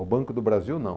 Ao Banco do Brasil, não.